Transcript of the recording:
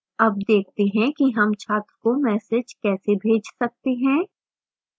अब देखते हैं कि हम छात्र को message कैसे भेज सकते हैं